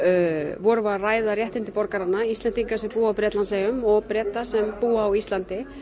vorum við að ræða réttindi borgaranna Íslendinga sem búa á Bretlandseyjum og Breta sem búa á Íslandi